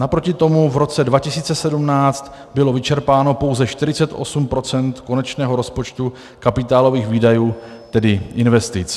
Naproti tomu v roce 2017 bylo vyčerpáno pouze 48 % konečného rozpočtu kapitálových výdajů, tedy investic.